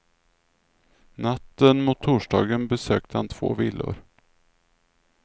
Natten mot torsdagen besökte han två villor.